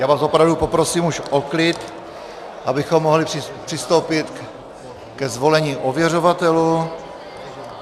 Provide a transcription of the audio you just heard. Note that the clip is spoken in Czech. Já vás opravdu poprosím už o klid, abychom mohli přistoupit ke zvolení ověřovatelů.